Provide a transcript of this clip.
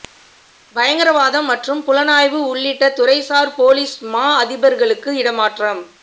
பயங்கரவாதம் மற்றும் புலனாய்வு உள்ளிட்ட துறைசார் பொலிஸ் மா அதிபர்களுக்கு இடமாற்றம்